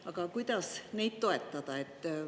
Aga kuidas neid toetada?